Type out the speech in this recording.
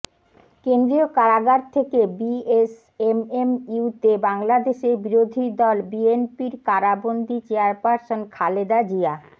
কেন্দ্রীয় কারাগার থেকে বিএসএমএমইউতে বাংলাদেশের বিরোধীদল বিএনপির কারাবন্দী চেয়ারপারসন খালেদা জিয়া